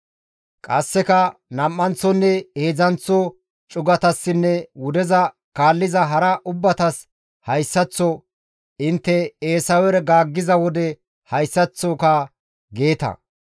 Qasseka nam7anththonne heedzdzanththo cugatassinne wudeza kaalliza hara ubbatas hayssaththo, «Intte Eesawera gaaggiza wode hayssaththoka geeta;